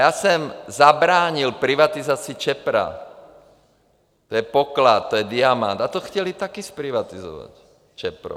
Já jsem zabránil privatizaci ČEPRO - to je poklad, to je diamant - a to chtěli taky zprivatizovat, ČEPRO.